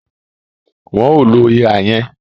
Wọn ò lo ihà yẹn